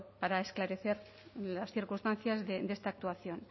para esclarecer las circunstancias de esta actuación